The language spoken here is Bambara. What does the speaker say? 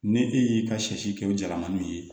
Ni e y'i ka sɛ si kɛ o jalamaninw ye